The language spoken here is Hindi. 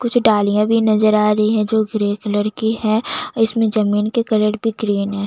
कुछ डालियाँ भी नज़र आ रही है जो ग्रे कलर की है इसमे जमीन के कलर भी ग्रीन है।